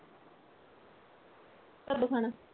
ਕਦੋਂ ਖਾਣਾ?